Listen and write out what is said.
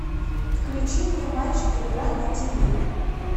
включи мне матч игра на ти ви